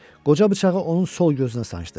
Qoca bıçağı onun sol gözünə sancdı.